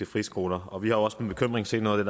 friskoler og vi har også med bekymring set noget af